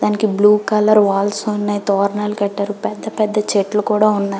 దానికి blue colour walls ఉన్నాయి తోరణాలు కట్టారు పెద్ద పెద్ద చెట్లు కూడా ఉన్నాయి.